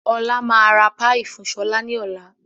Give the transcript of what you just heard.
Ọlá máa ra "Pie" fun sọlá ni ọ̀la.